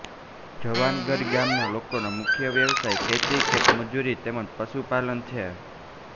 જવાનગઢ ગામના લોકોનો મુખ્ય વ્યવસાય ખેતી ખેતમજૂરી તેમ જ પશુપાલન છે